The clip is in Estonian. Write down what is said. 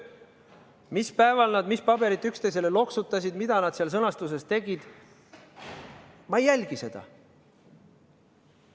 Mis päeval nad mis paberit üksteisele loksutasid, mida nad seal sõnastuses tegid – ma ei jälginud seda.